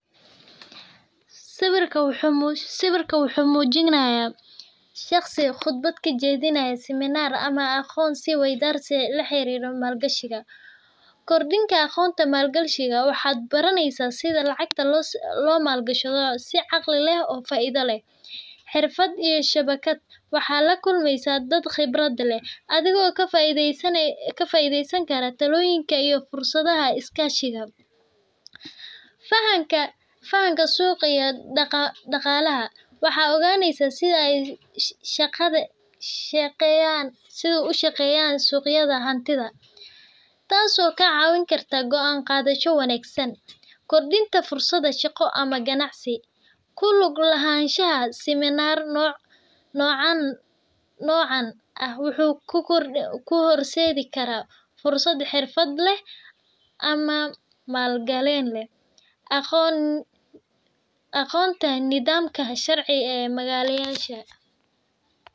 Siwirkan wuxu mujinaya shaqsi qudbada ka jadinayo siminar ama aqon si waydar la xiriro mal gashika, gordinka aqonta mal gashikav wax baranisah side lacagta lo mal gashdo sii aqali lah oo faida lah, xirfad wax lagulmasah dad qibrad lah adigo ka faidasa sanysan karo taloyinka iyo fursadaha iska shika, fahanka fahanka suqa daqal laha wax oganaysah side ay shaqada shaqayan sidu u shaqayayan suqyada ama hantida, taas oo ka cawinaysoh ka cawinkarta goon qadasho wangsan, gordinta fursada shaqo ama ganacsi, guluk la hashada siminar nocan nocan wuxu ku horsadi kara fursad xirfad lah, ama mal galan aqon aqontan nadamka sharci magala yasha.